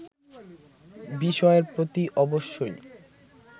বিষয়ের প্রতি অবশ্যই